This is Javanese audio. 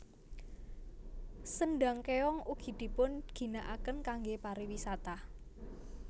Sendhang Kéong ugi dipun ginakaken kangge pariwisata